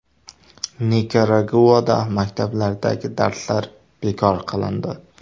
Nikaraguada maktablardagi darslar bekor qilindi.